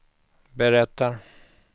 berättar